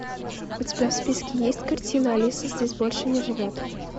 у тебя в списке есть картина алиса здесь больше не живет